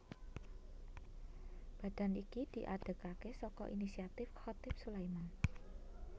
Badan iki diadegaké saka inisiatif Chatib Sulaiman